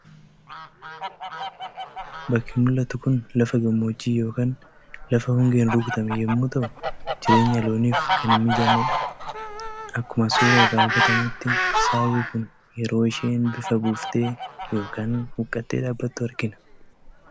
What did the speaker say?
Bakki mul'atu kun lafa gammoojjii yookaan lafa hongeen rukutamee yommuu ta'u jireenya looniif kan hin mijannedha. Akkuma suuraa irraa hubatamutti saawwi kun yeroo isheen bifa buuftee yookaan huuqqattee dhaabbattu argina.